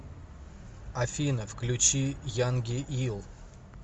афина включи янги ил